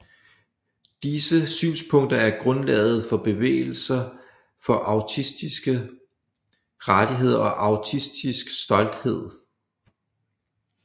Disse synspunkter er grundlaget for bevægelser for autistiske rettigheder og autistisk stolthed